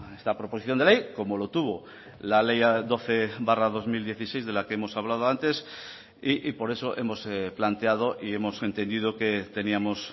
esta proposición de ley como lo tuvo la ley doce barra dos mil dieciséis de la que hemos hablado antes y por eso hemos planteado y hemos entendido que teníamos